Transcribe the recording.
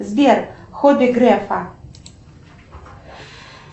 сбер хобби грефа